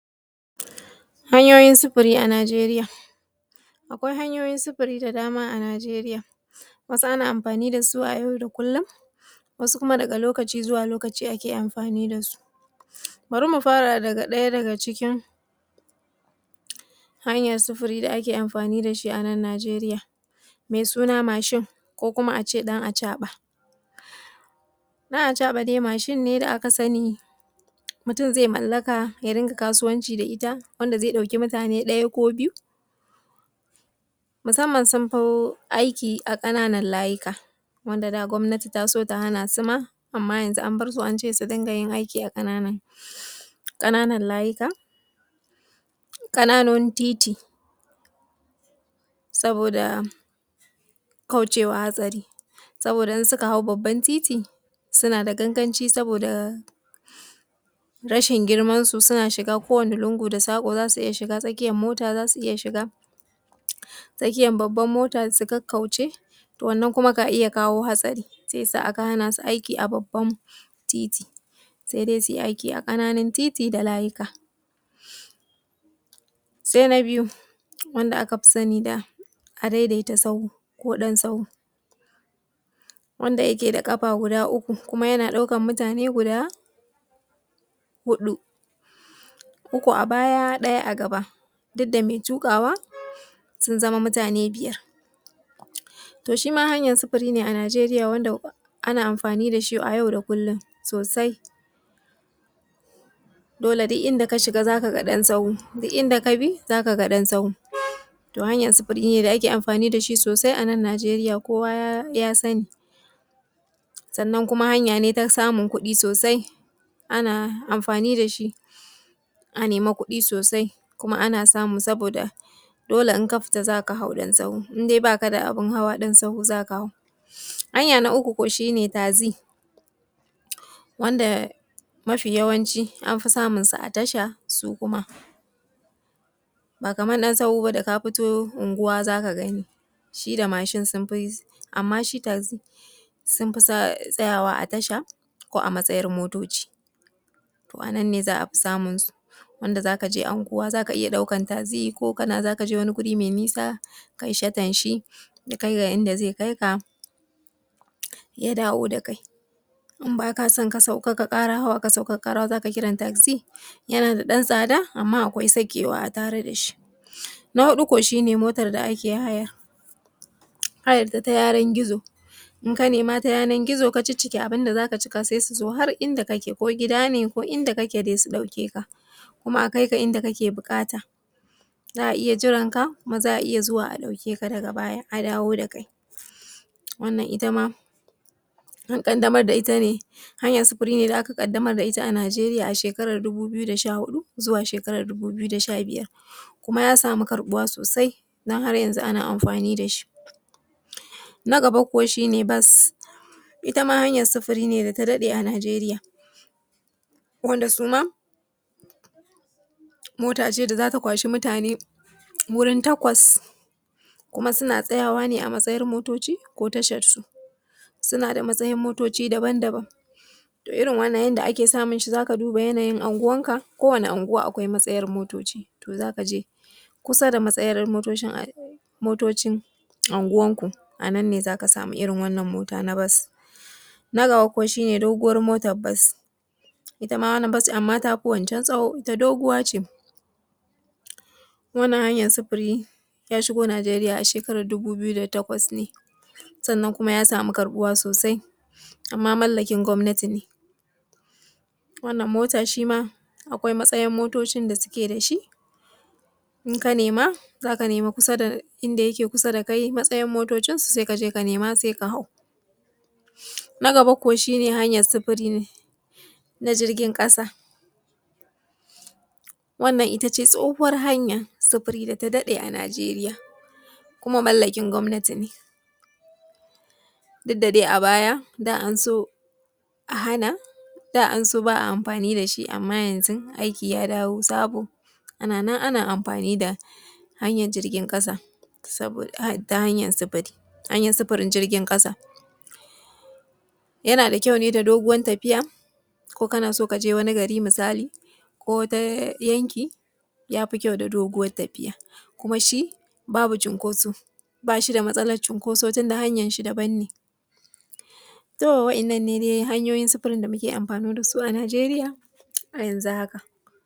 Hanyoyin sufuri a Najeriya. Akwai hanyoyin sufiri da ake amfani da su a Najeriya. Wannan faifan bidiyon yana nuna mana tsoma baki a cikin shan giya mai tsanani yana da matuƙar mahimmanci wajen taimakawa wanda ya kamu da wannnan ɗabi’a ya dawo da iko a rayuwarsa, shahadar giya tana iya zama mai wahala kuma tsoma baki da aka tsara da kyau zai iya ƙarfafa mutum ya nema taimako ga hanya mai kyau na yadda za a tunkare wannan batun. Kimanta al’amari, fahimtan matsaloli, tabbatar cewa matsalar shan giya tana da tsanani dan a yi tsoma baki duba alamomi kaman ƙin cika nau’o’in doka matsalolin lafiya, rikicce-rikicen dangantaka ko cigaba da shan koda yake yana haifar da matsaloli. Shirya kanka, fahimci dabi’ar sha da illolinsa ka koyi game da matsalar shan giya domin hanyoyin magance ta da kuma albarkatun da ake da su, tsara tawagar taimako, iyali da abokai zaɓin mutum ne da wanda aka shafa yake mutunta su kuma yana da amana da su. Tabbatar da cewa duk wanda zai shiga tsoma baki yana da fahimtar game da abubuwa da damuwarsu da manufan wannan tsombaki, taimakon masana, tabbatar da kawo kwararran mai ba da shawara ko kwararren mai kula wanda zai jagoranci shan giya, yana da tsanani ko wanda aka shafa yana da ƙiba, yana da ƙin karɓarsa. Tsomabaki, zaɓi lokaci da wuri mai dacewa, tabbatar cewa tsomabaki zai gudana a wurin mai zaman lafiya da kuma inda wanda akai magana zai ji amince, ka guji bara tsomabaki lokacin da suke cikin shan giya, shirya abun da za a fadi ko wani mutum zai shirya faɗar damuwarsa da ƙauna, yana mai mayar da hankalinsa kan lafiyar mutum maimakon tsokanan halayensa, yin gaskiya amman da tausayi yana da mahimmanci a bayyana sakamakon halayensu ba tare da kasancewa mai ɓacin rai ba. Manufa shi ne nuna ƙauna, goyan baya ba zagin halayyarsu ba, samar da zaɓuɓɓukan magani, yin shirye-shirye, magani, yin bincike ka zaɓuɓɓukan magani da ake da su a gaɓoɓin cibiyoyin kula da shan giya. Shirye-shirye ji na wajen ƙungiyoyin goyan baya ko shawarar neman taimako kai tsaye, bayar da goyan ba ya bayyana cewa za ku goyi bayansu cikin tsarin magani ko ta hanyar zuwa da su ko taimakawa, a shirin shi yana tafiya da su sai dai iyakoki bayyana sakamakon ka shirya dan tsai da iyakoki, bayyanawa mutum cewa idan ba su nemi taimako ba za a fuskanci sakamako, misali rage haɗin kai ko ƙin taimaka musu wajen shan giya, cigaba da tsayawa da gaskiya idan mutum ya ƙi karɓar taimako ya abin da ake tsarawa yana da mahimmanci ya kasance mai tsauri amma koyaushe tare da tausayi bayan tsoma baki, bayar da taimako na gaggawa idan suka amince su nemi taimako, ku kasance a nan dan goyo baya wajan fara magani ko ta hanyar shiga shirye-shiryan juya kula ko tsoro. Goyan bayan na cigaba, sake ƙarfafa wa daga shan giya yana buƙatan lokaci kuma mutum zai buƙaci goyan baya na musamman da jiki ko daga iyali dukkan a wannan lokaci mai wuya. Mahimman abubuwan da ya kamata a tuna manufar tsuma baki ba wai tilastawa mutum dai na shna giya ba ne sai dai taiamakawa su gane cewa akwai buƙatar canji da kuma ƙarfafa su, su nemi taimako lokacin da hanyan suna da mahimmanci.